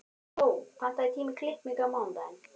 Gló, pantaðu tíma í klippingu á mánudaginn.